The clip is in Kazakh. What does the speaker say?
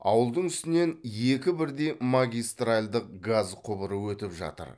ауылдың үстінен екі бірдей магистральдық газ құбыры өтіп жатыр